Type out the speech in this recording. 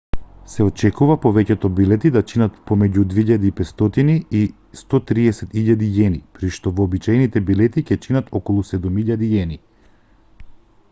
се очекува повеќето билети да чинат помеѓу ¥2.500 и ¥130.000 при што вообичаените билети ќе чинат околу ¥7.000